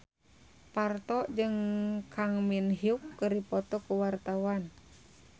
Parto jeung Kang Min Hyuk keur dipoto ku wartawan